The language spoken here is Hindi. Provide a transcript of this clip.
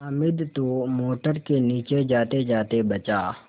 हामिद तो मोटर के नीचे जातेजाते बचा